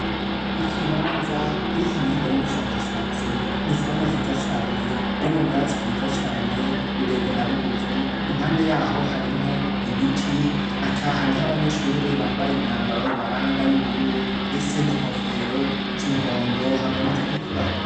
Ikibanza kuri kaminuza y'ubushakashatsi, n'ikibanza ciza cane kirimwo ubwatsi bwiza cane bure bure na bugufi, impande yaho harimwo ibiti, hakaba hariho abanyeshure bambaye imyambaro ibaranga y'ubururu ese n'inkofero z'umuhondo hamwe n'izitukura.